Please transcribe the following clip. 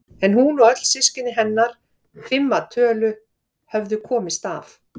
En hún og öll systkini hennar, fimm að tölu, höfðu komist af.